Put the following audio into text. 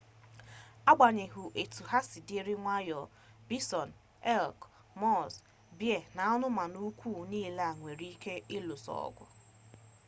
agbanyeghị etu ha siri dị nwayọọ bison elk muuz bea na anụmanụ ukwu niile nwere ike iluso ọgụ